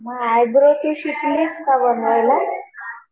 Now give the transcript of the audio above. हा आयब्रो ते शिकलीस का बनवायला.